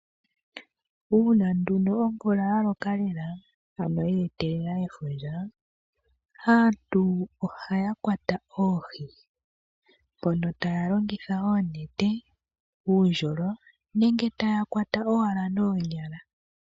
Uuna nduno omvula ya loka lela ano ya etelela efundja, aantu ohaya kwata oohi mpono taya longitha oonete, uundjolo nenge taya kwata owala noonyala.